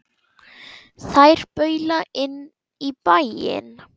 Þær baula inn í bæinn.